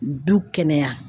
Du kɛnɛya.